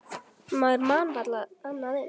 Maður man varla annað eins.